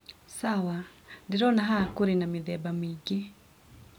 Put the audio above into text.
Sawa, ndĩrona haha kũrĩ na mĩthemba mĩingĩ.